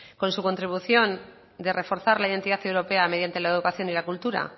con su contribución de reforzar la identidad europea mediante la educación y la cultura